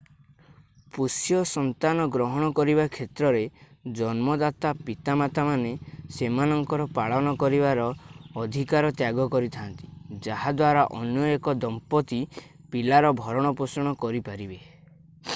ପୋଷ୍ୟ ସନ୍ତାନ ଗ୍ରହଣ କରିବା କ୍ଷେତ୍ରରେ ଜନ୍ମଦାତା ପିତାମାତାମାନେ ସେମାନଙ୍କର ପାଳନ କରିବାର ଅଧିକାର ତ୍ୟାଗ କରିଥା'ନ୍ତି ଯାହା ଦ୍ୱାରା ଅନ୍ୟ ଏକ ଦମ୍ପତି ପିଲାର ଭରଣପୋଷଣ କରିପାରିବେ